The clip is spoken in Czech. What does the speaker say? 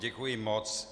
Děkuji moc.